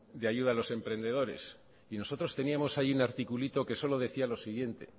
de ayuda a los emprendedores y nosotros teníamos allí un articulito que solo decía lo siguiente